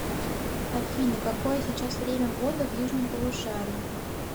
афина какое сейчас время года в южном полушарии